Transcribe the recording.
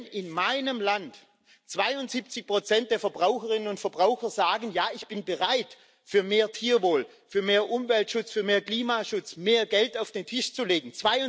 Wenn in meinem Land 72 der Verbraucherinnen und Verbraucher sagen Ja, ich bin bereit, für mehr Tierwohl, für mehr Umweltschutz, für mehr Klimaschutz mehr Geld auf den Tisch zu legen